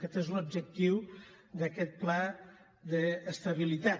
aquest és l’objectiu d’aquest pla d’estabilitat